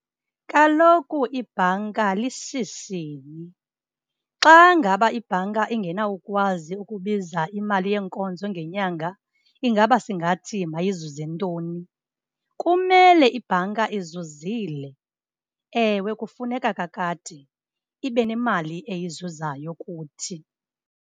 Kaloku ibhanka lishishini, xa ngaba ibhanka ingenawukwazi ukubiza imali yeenkonzo ngenyanga ingaba singathi mayizuze ntoni? Kumele ibhanka izuzile, ewe kufuneka kakade ibe nemali eyizuzayo kuthi.